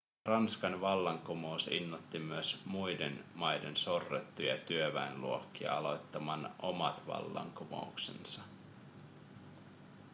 ranskan vallankumous innoitti myös muiden maiden sorrettuja työväenluokkia aloittamaan omat vallankumouksensa